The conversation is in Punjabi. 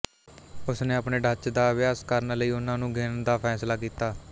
ਉਸਨੇ ਆਪਣੇ ਡੱਚ ਦਾ ਅਭਿਆਸ ਕਰਨ ਲਈ ਉਹਨਾਂ ਨੂੰ ਗਿਣਨ ਦਾ ਫੈਸਲਾ ਕੀਤਾ